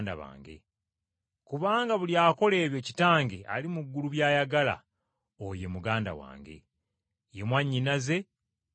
Kubanga buli akola ebyo Kitange ali mu ggulu by’ayagala oyo ye muganda wange, ye mwannyinaze era ye mmange.”